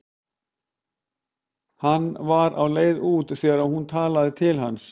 Hann var á leið út þegar hún talaði til hans.